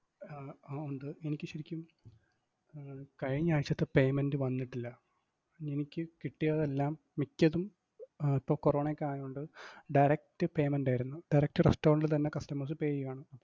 ആഹ് അഹ് ഉണ്ട്, എനിക്ക് ശെരിക്കും കഴിഞ്ഞാഴ്ചത്തെ payment വന്നിട്ടില്ല. എനിക്ക് കിട്ടിയതെല്ലാം മിക്കതും ഇപ്പൊ കൊറോണയൊക്കെ ആയോണ്ട്‌ direct payment ആയിരുന്നു. Direct restaurant ഇൽ തന്നെ customers pay ചെയ്യുവാണ്.